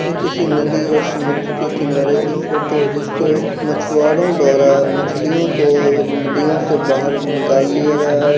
ये किसी नदी या समुद्र के किनारे की फोटो है जिसके मछुवारों द्वारा मछलियों को नदियों से बाहर निकाल लिया गया है।